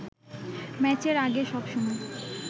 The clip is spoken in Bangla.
ম্যাচের আগে সবসময়